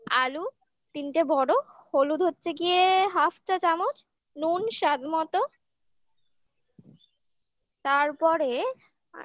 আলু তিনটে বড় হলুদ হচ্ছে গিয়ে half চা চামচ নুন স্বাদ মতো তারপরে আর